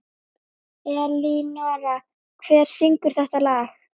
Elínora, hver syngur þetta lag?